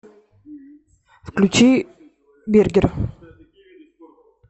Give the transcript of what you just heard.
включи бергер